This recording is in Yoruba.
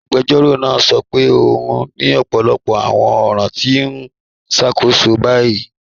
Agbẹjọ́rọ̀ naa sọ pé o ni ọpọlọpọ awọn ọ̀ran ti o n ṣákóṣọ ni bayí.